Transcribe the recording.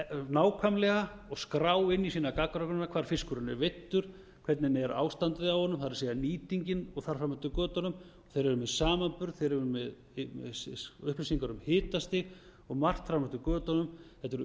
nákvæmlega og skrá inn í sína gagnagrunna hvar fiskurinn er veiddur hvernig ástandið er á honum það er nýtingin og þar fram eftir götunum þeir eru með samanburð þeir eru með upplýsingar um hitastig og margt fram eftir götunum þetta eru